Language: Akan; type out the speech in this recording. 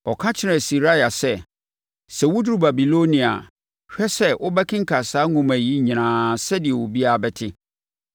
Ɔka kyerɛɛ Seraia sɛ, “Sɛ woduru Babilonia a, hwɛ sɛ wo bɛkenkan saa nsɛm yi nyinaa sɛdeɛ obiara bɛte.